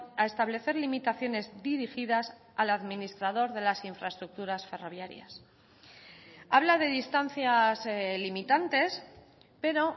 a establecer limitaciones dirigidas al administrador de las infraestructuras ferroviarias habla de distancias limitantes pero